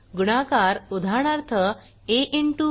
गुणाकार उदाहरणार्थ ab